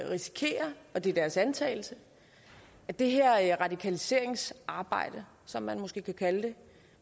risikere og det er deres antagelse at det her radikaliseringsarbejde som man måske kan kalde det